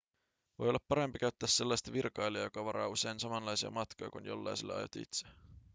voi olla parempi käyttää sellaista virkailijaa joka varaa usein samanlaisia matkoja kuin jollaiselle aiot itse